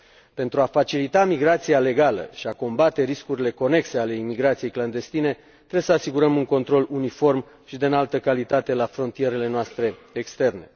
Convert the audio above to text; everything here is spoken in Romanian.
Pentru a facilita migrația legală și a combate riscurile conexe ale imigrației clandestine, trebuie să asigurăm un control uniform și de înaltă calitate la frontierele noastre externe.